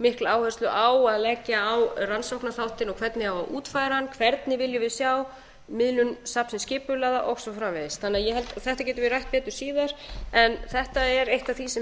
mikla áherslu á að leggja á rannsóknaþáttinn og hvernig á að útfæra hann hvernig viljum við sjá safnið skipulagða og svo framvegis þetta getum við rætt betur síðar en þetta er eitt af því sem